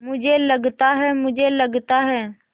मुझे लगता है मुझे लगता है